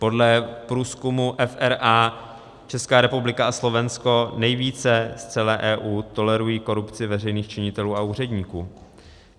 Podle průzkumu FRA Česká republika a Slovensko nejvíce v celé EU tolerují korupci veřejných činitelů a úředníků.